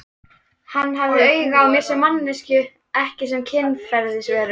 Hann hafði áhuga á mér sem manneskju ekki sem kynferðisveru?